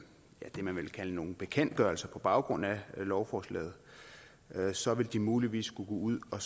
det man vel kan kalde nogle bekendtgørelser på baggrund af lovforslaget så vil de muligvis skulle gå ud og